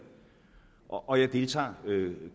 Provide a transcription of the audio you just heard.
og jeg deltager